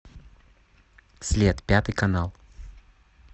след пятый канал